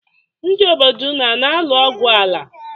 Ndị obodo unu ana-alụ ogwụ ala?